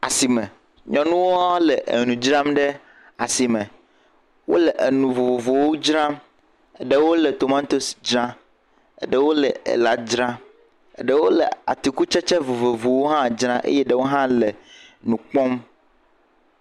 Asime. Nyɔnua le enu dzram le asime. Wole enu vovovowo dzram. Ɖewo le tomatosi dzram. Ɖewo le ela dzram. Ɖewo le atikutsetse vovovowo hã dzram eye ɖewo hã le nu kpɔm.